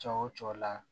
Cɔ o cɔ la